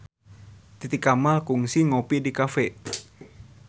Titi Kamal kungsi ngopi di cafe